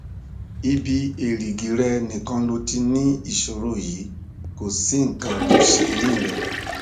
ibi èrìgì rẹ nìkan ló ti ló ti ní ìṣòro yìí kò sí nǹkan tó ṣe eyín rẹ